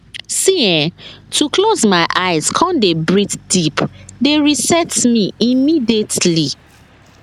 see[um]to close my eyes come dey breathe deep dey reset me immediately